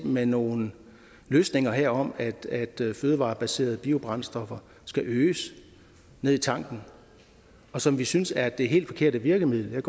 med nogle løsninger her omkring at fødevarebaserede biobrændstoffer skal øges ned i tanken som vi synes er det helt forkerte virkemiddel jeg